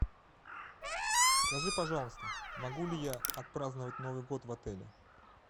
скажи пожалуйста могу ли я отпраздновать новый год в отеле